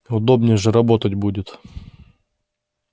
удобнее же работать будет